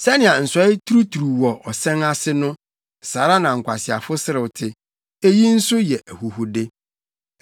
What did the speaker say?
Sɛnea nsɔe turuturuw wɔ ɔsɛn ase no saa ara na nkwaseafo serew te. Eyi nso yɛ ahuhude.